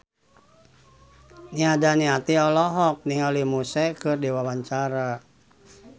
Nia Daniati olohok ningali Muse keur diwawancara